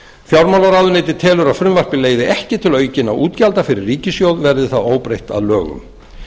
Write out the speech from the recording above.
fjármálaráðuneytið telur að frumvarpið leiði ekki til aukinna útgjalda fyrir ríkissjóð verði það óbreytt að lögum